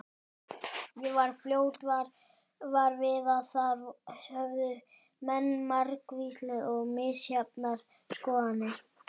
Ég varð fljótt var við að þar höfðu menn margvíslegar og misjafnar skoðanir.